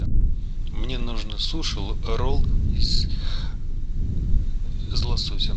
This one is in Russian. мне нужно суши ролл из лосося